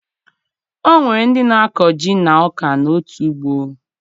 O nwere ndị na-akọ ji na ọka n'otu ugbo